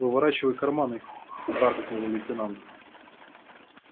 выворачивай карманы харкнул лейтенант